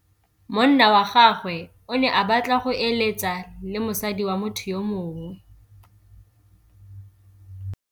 Monna wa gagwe o ne a batla go êlêtsa le mosadi wa motho yo mongwe.